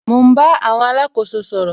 Mo ń bá àwọn alákóso sọ̀rọ̀